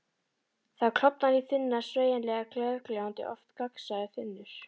Það klofnar í þunnar, sveigjanlegar, glergljáandi, oft gagnsæjar þynnur.